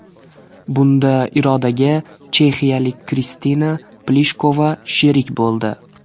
Bunda Irodaga chexiyalik Kristina Plishkova sherik bo‘ldi.